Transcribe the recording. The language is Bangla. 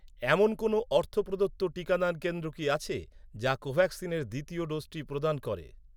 এমন কোনও অর্থ প্রদত্ত টিকাদান কেন্দ্র কি আছে, যা কোভ্যাক্সিনের দ্বিতীয় ডোজটি প্রদান করে?